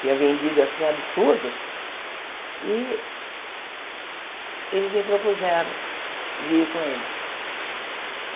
tinha vendido assim um absurdo, e eles me propuseram de ir com eles.